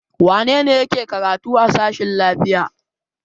Wane ne yake karatu a sashen lafiya?